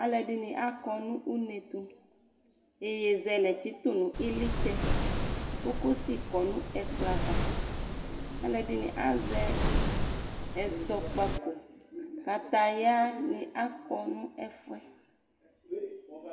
Aluedini akɔ nʋ unetʋ Yeyezɛlɛ tsitʋ nu iylitsɛ kokosi kɔ nu ɛkplɔ avaAluɛɖini azɛ ɛzɔkpakokataya ni ako nu ɛƒʋɛ